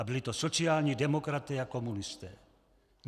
A byli to sociální demokraté a komunisté.